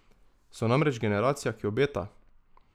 So namreč generacija, ki obeta!